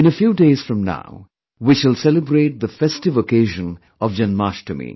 In a few days from now, we shall celebrate the festive occasion of Janmashtami